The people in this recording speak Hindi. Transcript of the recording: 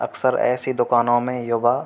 अक्सर ऐसी दुकानों में युवा --